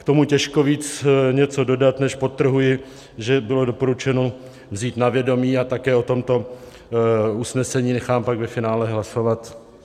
K tomu těžko víc něco dodat, než, podtrhuji, že bylo doporučeno vzít na vědomí, a také o tomto usnesení nechám pak ve finále hlasovat.